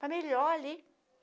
Para melhor ali.